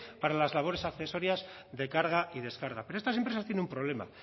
para las labores accesorias de carga y descarga pero estas empresas tienen un problema